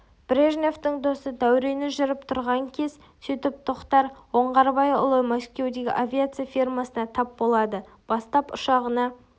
брежневтің досы дәурені жүріп тұрған кез сөйтіп тоқтар оңғарбайұлы мәскеудегі авиация фирмасына тап болады бастап ұшағына